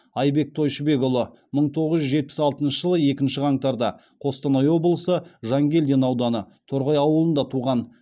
айбек тойшыбекұлы мың тоғыз жүз жетпіс алтыншы жылы екінші қаңтарда қостанай облысы жангелдин ауданы торғай ауылында туған